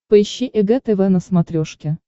поищи эг тв на смотрешке